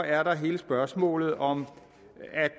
er der hele spørgsmålet om